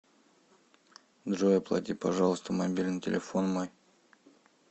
джой оплати пожалуйста мобильный телефон мой